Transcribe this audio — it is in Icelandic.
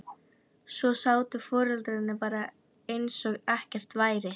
Svo sátu foreldrarnir bara eins og ekkert væri.